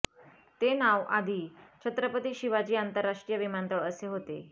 ते नाव आधी छत्रपती शिवाजी आंतरराष्ट्रीय विमानतळ असे होते